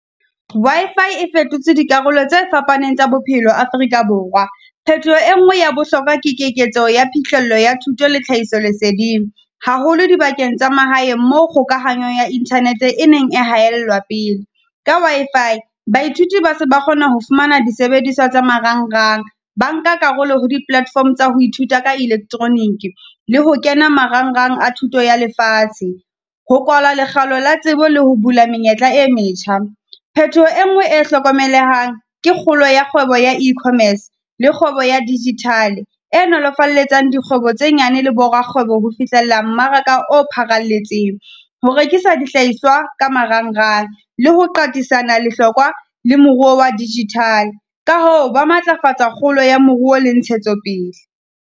Wi-Fi e fetotse dikarolo tse fapaneng tsa bophelo Afrika Borwa. Phetoho e nngwe ya bohlokwa ke keketso ya phihlello ya thuto le tlhahiso leseding, haholo dibakeng tsa mahae mo kgokahanyo ya internet-e e neng e haellwa pe. Ka Wi-Fi baithuti ba se ba kgona ho fumana disebediswa tsa marangrang, ba nka karolo ho di platform tsa ho ithuta ka electronic. Le ho kena marangrang a thuto ya lefatshe, ho kwalwa lekgalo la tsebo le ho bula menyetla e metjha. Phetoho e ngwe e hlokomelehang, ke kgolo ya kgwebo ya E-commerce, lr kgwebo ya digital-e, e nolofalletsang dikgwebo tse nyane le borakgwebo ho fihlella mmaraka o pharaletseng. Ho rekisa dihlahiswa ka marangrang, le ho qatisana lehlokwa le moruo wa digital. Ka hoo, ba matlafatsa kgolo ya moruo le ntshetsopele.